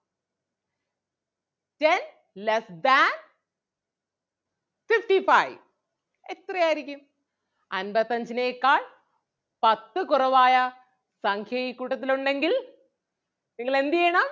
ten less than fifty-five എത്ര ആരിക്കും അൻപത്തഞ്ചിനെക്കാൾ പത്ത് കുറവായ സംഖ്യ ഈ കൂട്ടത്തിൽ ഉണ്ടെങ്കിൽ നിങ്ങൾ എന്ത് ചെയ്യണം?